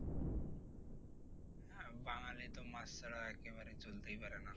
বাঙালি তো মাছ ছাড়া একেবারে চলতেই পারে না।